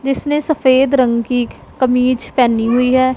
जिसने सफेद रंग की कमीज पहनी हुई है।